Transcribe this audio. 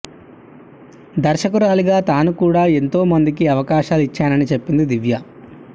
దర్శకురాలిగా తాను కూడా ఎంతో మందికి అవకాశాలు ఇచ్చానని చెప్పింది దివ్యా